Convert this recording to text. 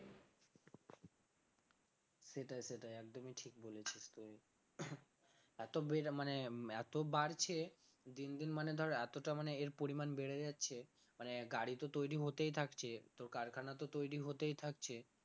সেটাই সেটাই একদমই ঠিক বলেছিস তুই এত বেড় মানে এত বাড়ছে দিন দিন মানে ধর এতটা মানে এর পরিমাণ বেড়ে যাচ্ছে মানে গাড়ি তো তৈরি হতেই থাকছে তো কারখানা তো তৈরি হতেই থাকছে